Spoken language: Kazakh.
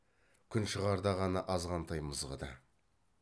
күн шығарда ғана азғантай мызғыды